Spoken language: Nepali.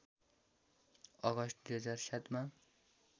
अगस्ट २००७ मा